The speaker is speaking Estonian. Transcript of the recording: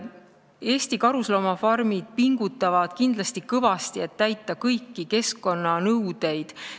Eesti karusloomafarmid pingutavad kindlasti kõvasti, et täita kõiki keskkonnanõudeid.